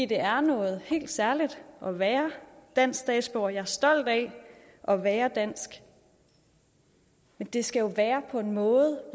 det er noget helt særligt at være dansk statsborger og jeg er stolt af at være dansk men det skal jo være på en måde